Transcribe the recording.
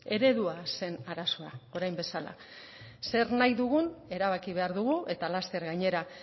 eredua zen arazoa orain bezala zer nahi dugun erabaki behar dugu eta laster gainera